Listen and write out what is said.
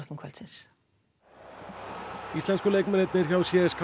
kvöldsins íslensku leikmennirnir hjá